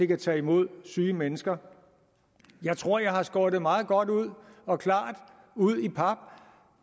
kan tage imod syge mennesker jeg tror jeg har skåret det meget godt og klart ud i pap